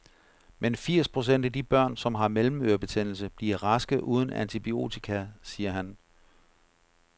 Men firs procent af de børn, som har mellemørebetændelse, bliver raske uden antibiotika, siger han.